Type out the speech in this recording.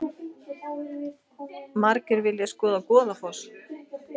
Margir vilja skoða Goðafoss